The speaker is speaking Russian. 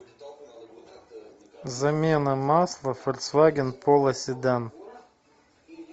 замена масла фольксваген поло седан